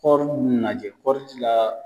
Kɔri nunnu lajɛ kɔri di la.